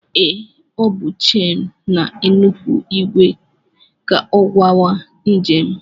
Ee, ọ bụ chen na-enupụ ìgwè ka ọ gawa njem